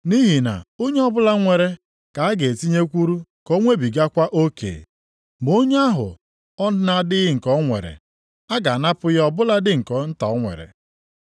Nʼihi na onye ọbụla nwere ka a ga e tinyekwuru ka o nwebigakwa oke. Ma onye ahụ ọ na-adịghị nke o nwere, a ga-anapụ ya ọ bụladị nke nta o nwere.